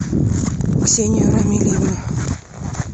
ксению рамильевну